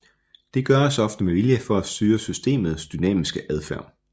Det gøres ofte med vilje for at styre systemets dynamiske adfærd